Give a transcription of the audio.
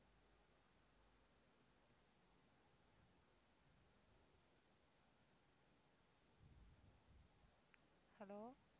hello